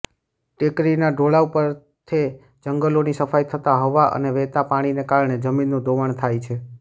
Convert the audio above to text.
ટેકરીના ઢોળાવ પરથે જંગલોની સફાઈ થતાં હવા અને વહેત પાણીને કારણે જમીનનું ધોવાણ થાય છે